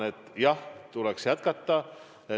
Ma arvan, et tuleks jätkata.